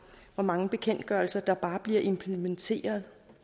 hvor mange bekendtgørelser der bare bliver implementeret